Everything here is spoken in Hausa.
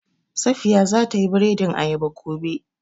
Safiya za ta yi biredin ayaba gobe